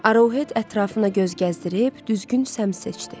Aruhet ətrafına göz gəzdirib düzgün səmt seçdi.